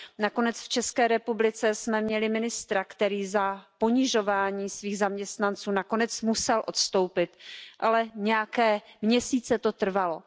Nakonec v České republice jsme měli ministra, který za ponižování svých zaměstnanců nakonec musel odstoupit, ale nějaké měsíce to trvalo.